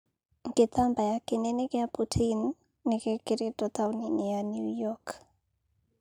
Gĩtambaya kĩnene gĩa Putin nĩgĩkĩrĩtwo tauni-inĩ ya Newyork.